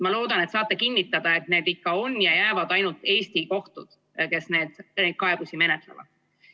Ma loodan, et saate kinnitada, et need ikka on ja jäävad ainult Eesti kohtud, kes neid kaebusi menetlevad.